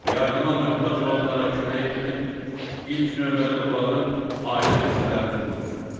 Yardıma möhtac olanlara kömək etmək ilk növbədə onların ailə üzvlərinin borcudur.